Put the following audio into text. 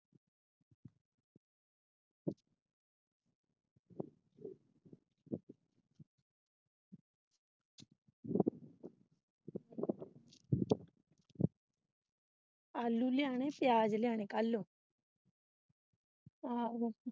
ਆਲੂ ਲਿਆਣੇ ਪਿਆਜ ਲਿਆਣੇ ਕੱਲ ਆਹੋ।